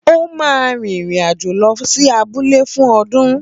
Ó máa rìnrìn-àjò lọ sí abúlé fún ọdún